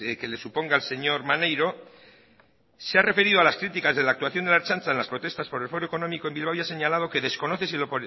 que le suponga al señor maneiro se ha referido a las criticas de la actuación de la ertzaintza en las protestas por el foro económico en bilbao y ha señalado que desconoce